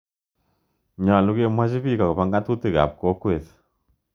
Nyalu kemwochi piik akopo ng'atutik ap kokwet.